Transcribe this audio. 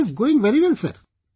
It is going very well sir